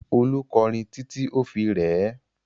Olú kọrin títí ó fi rẹ ẹ́.